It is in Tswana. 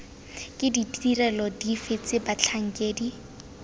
ke ditirelo dife tse batlhankedi